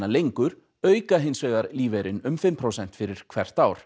lengur auka hins vegar lífeyrinn um fimm prósent fyrir hvert ár